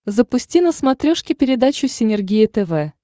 запусти на смотрешке передачу синергия тв